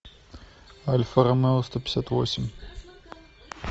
альфа ромео сто пятьдесят восемь